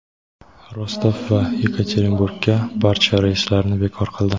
Rostov va Yekaterinburgga barcha reyslarni bekor qildi.